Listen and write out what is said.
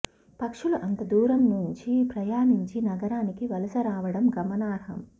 పక్షులు అంత దూరం నుంచి ప్రయాణించి నగరానికి వలస రావడం గమనార్హం